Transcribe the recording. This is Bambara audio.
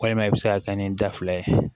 Walima i bɛ se ka kɛ ni da fila ye